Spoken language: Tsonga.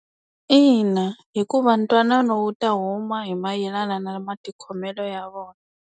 Ina, hikuva ntwanano wu ta huma hi mayelana na matikhomelo ya vona.